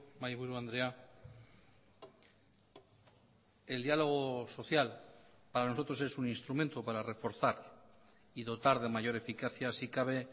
mahaiburu andrea el diálogo social para nosotros es un instrumento para reforzar y dotar de mayor eficacia si cabe